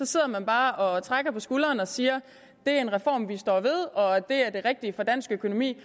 sidder bare og trækker på skulderen og siger det er en reform vi står ved og det er det rigtige for dansk økonomi